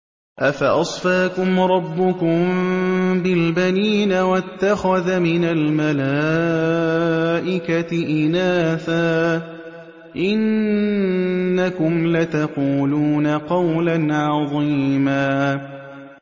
أَفَأَصْفَاكُمْ رَبُّكُم بِالْبَنِينَ وَاتَّخَذَ مِنَ الْمَلَائِكَةِ إِنَاثًا ۚ إِنَّكُمْ لَتَقُولُونَ قَوْلًا عَظِيمًا